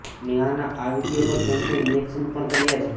નેહાના આ વિડીયો પર ફેન્સે રિએક્શન પણ કર્યા છે